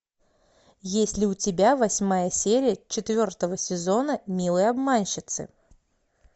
есть ли у тебя восьмая серия четвертого сезона милые обманщицы